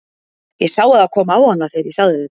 Ég sá að það kom á hana þegar ég sagði þetta.